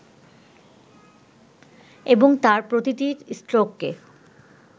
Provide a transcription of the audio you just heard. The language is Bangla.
এবং তাঁর প্রতিটি স্ট্রোককে